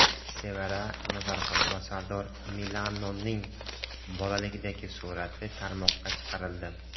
Sevara Nazarxon va Sardor Milanoning bolalikdagi surati tarmoqqa chiqarildi.